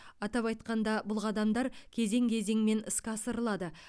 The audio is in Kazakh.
атап айтқанда бұл қадамдар кезең кезеңмен іске асырылады